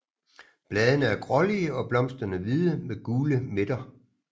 Bladene er grålige og blomsterne hvide med gule midter